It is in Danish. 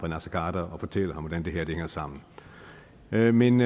naser khader og fortælle ham hvordan det her hænger sammen men men